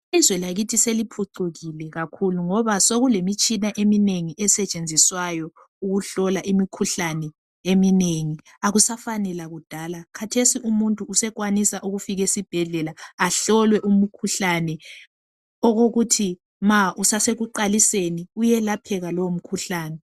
Izwe lakithi seliphucukile kakhulu ngoba sokulemitshina eminengi esetshenziswayo ukuhlola imikhuhlane eminengi akusafani lakudala khathesi umuntu usekwanisa ukufika esibhedlela ahlolwe umkhuhlane okokuthi ma usasekuqaliseni uyelapheka lowo mkhuhlane